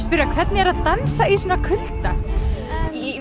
spyrja hvernig er að dansa í svona kulda